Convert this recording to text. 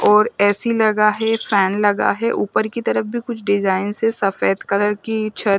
और ए_सी लगा है फेन लगा है ऊपर की तरफ भी कुछ डीजाईंन है सफ़ेद कलर की छत--